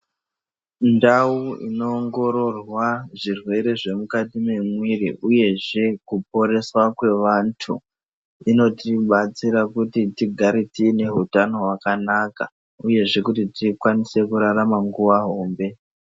Mundawo inowongororwa zvirwere zvemukati memuiri uye, zvekuporeswa kwevantu ,inotibatsira kuti tigare tinehutano hwakanaka, uyezve kuti tikwanise kurarama nguwa hombe.